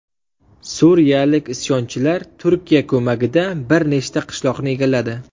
Suriyalik isyonchilar Turkiya ko‘magida bir nechta qishloqni egalladi.